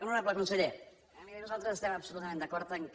honorable conseller miri nosaltres estem absolutament d’acord que